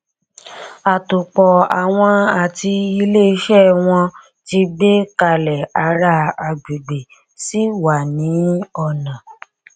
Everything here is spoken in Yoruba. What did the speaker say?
àtòpọàwọn àti ilé iṣẹ wọn tì gbé kalẹ ará agbègbè sì wà ní ọnà